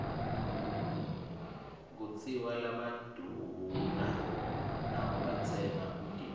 kutsiwa labaduuna nabo batsengba umtimba